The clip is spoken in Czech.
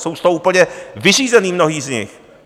Jsou z toho úplně vyřízení mnozí z nich.